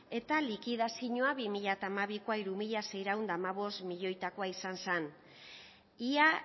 eta likidazioa bi mila hamabikoa hiru mila seiehun eta hamabost milioitakoa izan zen ia